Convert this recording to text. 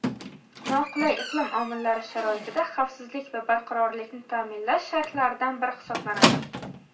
noqulay iqlim omillari sharoitida xavfsizlik va barqarorlikni ta’minlash shartlaridan biri hisoblanadi.